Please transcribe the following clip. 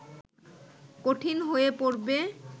কঠিন হয়ে পড়বে